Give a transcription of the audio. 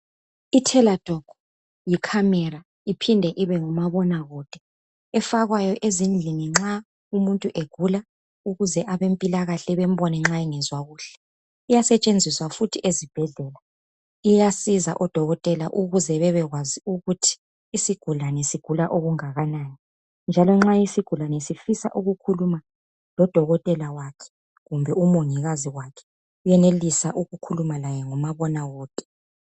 Iteladoc yi camera iphinde ibe ngumabonakude efakwayo ezindlini nxa umuntu egula ukuze abempilakahle bambone nxa engazwa kuhle. Iyasetshenziswa futhi ezibhedlela .Iyasiza oDokotela ukuze bebekwazi ukuthi isigulane sigula okungakanani, njalo nxa isigulane sifisa ukukhuluma lo Dokotela waso kumbe u Mongikazi wakhe uyenelisa ukukhuluma laye ngumabonakude.